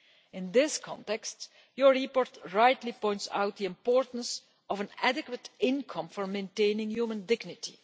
In this context, your report rightly points out the importance of an adequate income for maintaining human dignity.